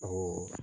Ɔ